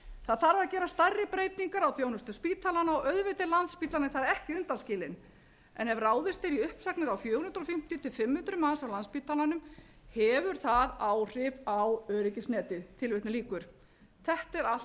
það þarf að gera stærri breytingar á þjónustu spítalanna og auðvitað er landspítalinn þar ekki undanskilinn en ef ráðist er í uppsagnir á fjögur hundruð fimmtíu til fimm hundruð manns á landspítalanum hefur það áhrif á öryggisnetið þetta er allt